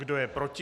Kdo je proti?